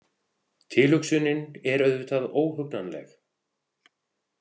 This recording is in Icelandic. Tilhugsunin er auðvitað óhugnanleg.